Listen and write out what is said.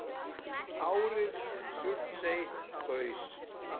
Árið sem Surtsey gaus.